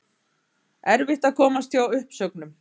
Erfitt að komast hjá uppsögnum